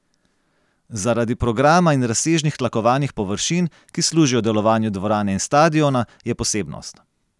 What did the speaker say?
Zaradi programa in razsežnih tlakovanih površin, ki služijo delovanju dvorane in stadiona, je posebnost.